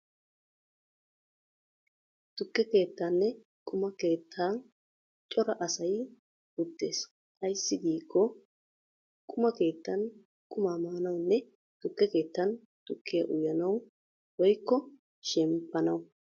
Tukke keettaaninne quma keettan cora asay uttees. Ayssi giikko quma keettan qumaa maanawunne tukke keettan tukkiyaa uyanaw woykko shemppanaw.